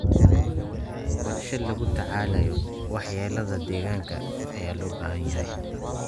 Qorshe lagula tacaalayo waxyeelada deegaanka ayaa loo baahan yahay.